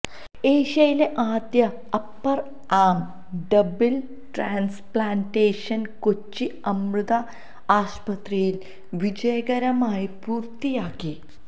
ഏഷ്യയിലെ ആദ്യ upper arm double transplantation Kochi Amrita ആശുപത്രിയില് വിജയകരമായി പൂര്ത്തിയാക്കി